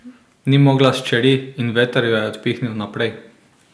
Ni mogla s čeri in veter jo je odpihnil naprej.